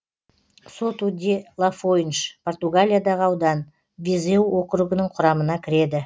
соту де лафойнш португалиядағы аудан визеу округінің құрамына кіреді